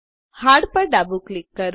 hard પર ડાબું click કરો